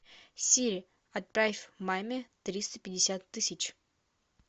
сири отправь маме триста пятьдесят тысяч